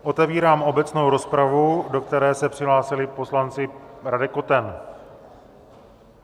Otevírám obecnou rozpravu, do které se přihlásil poslanec Radek Koten.